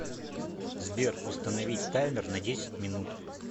сбер установить таймер на десять минут